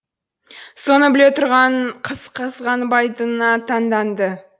соны біле тұра қызғанбайтынына таңданды